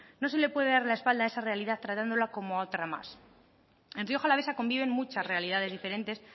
no se le puede dar la espalda a esa realidad tratándola como a otra más en rioja alavesa conviven muchas realidades diferentes